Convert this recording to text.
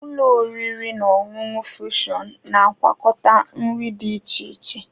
Ụlọ oriri na ọṅụṅụ fushon na-agwakọta nri dị iche iche.